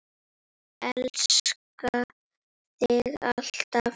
Elska þig alltaf.